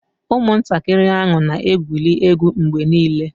Ụmụntakịrị ahụ na-egwuri egwu mgbe niile